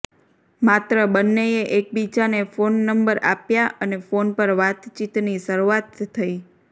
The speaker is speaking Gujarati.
માત્ર બંનેએ એકબીજાને ફોન નંબર આપ્યા અને ફોન પર વાતચીતની શરૂઆત થઈ